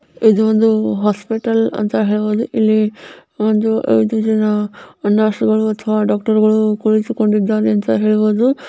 ಇದು ಒಂದು ಹಾಸ್ಪಿಟಲ್ ಅಂತ ಹೇಳಬಹುದು. ಇಲ್ಲೇ ಐದು ಜನ ನರ್ಸುಗಳು ಮತ್ತು ಡಾಕ್ಟರ್ ಗಳು ಕುಡಿಸಿಕೊಂಡಿದ್ದಾನೆ ಅಂತ ಹೇಳಬಹುದು .